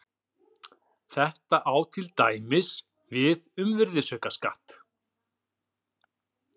þetta á til dæmis við um virðisaukaskatt